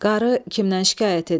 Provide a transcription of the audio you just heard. Qarı kimdən şikayət edir?